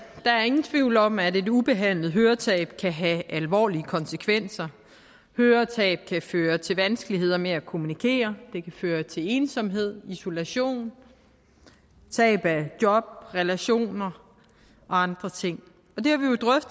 der er ingen tvivl om at et ubehandlet høretab kan have alvorlige konsekvenser høretab kan føre til vanskeligheder med at kommunikere det kan føre til ensomhed isolation tab af job relationer og andre ting